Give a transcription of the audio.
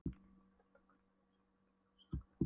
endurtók hann og beygði sig niður til að losa skóreimarnar.